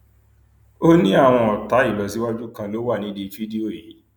ó ní àwọn ọtá ìlọsíwájú kan ló wà nídìí fídíò yìí